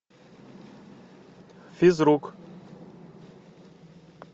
физрук